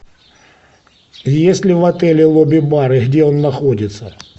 есть ли в отеле лобби бар и где он находится